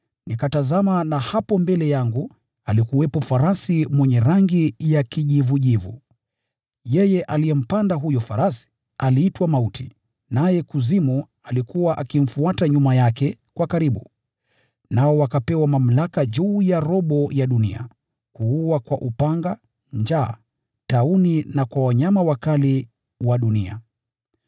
Nikatazama, na hapo mbele yangu alikuwepo farasi mwenye rangi ya kijivujivu! Yeye aliyempanda aliitwa Mauti, naye Kuzimu alikuwa akimfuata nyuma yake kwa karibu. Wakapewa mamlaka juu ya robo ya dunia, kuua kwa upanga, njaa, tauni na kwa wanyama wakali wa dunia.